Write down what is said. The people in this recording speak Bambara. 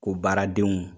O baaradenw